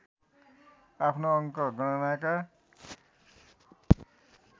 आफ्नो अङ्क गणनाका